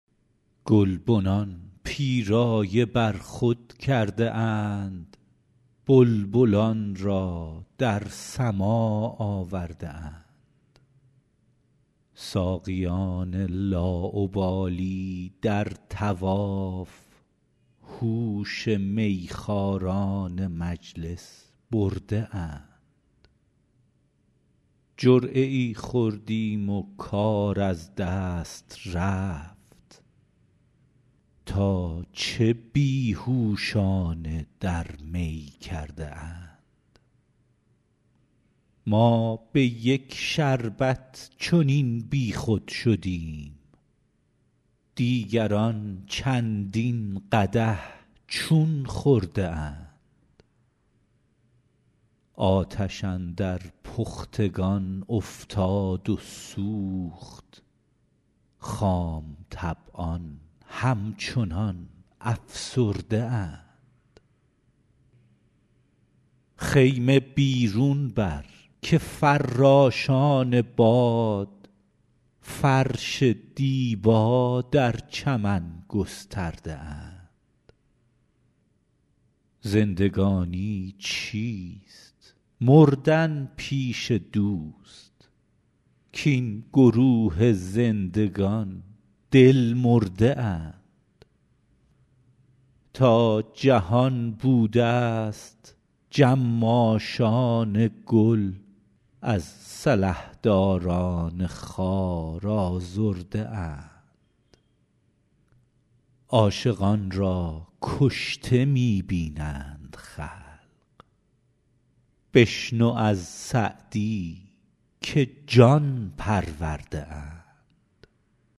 گلبنان پیرایه بر خود کرده اند بلبلان را در سماع آورده اند ساقیان لاابالی در طواف هوش میخواران مجلس برده اند جرعه ای خوردیم و کار از دست رفت تا چه بی هوشانه در می کرده اند ما به یک شربت چنین بیخود شدیم دیگران چندین قدح چون خورده اند آتش اندر پختگان افتاد و سوخت خام طبعان همچنان افسرده اند خیمه بیرون بر که فراشان باد فرش دیبا در چمن گسترده اند زندگانی چیست مردن پیش دوست کاین گروه زندگان دل مرده اند تا جهان بودست جماشان گل از سلحداران خار آزرده اند عاشقان را کشته می بینند خلق بشنو از سعدی که جان پرورده اند